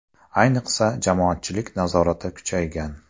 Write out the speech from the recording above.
Ayniqsa, jamoatchilik nazorati kuchaygan.